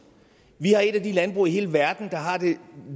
vi har et af de landbrug i hele verden der har det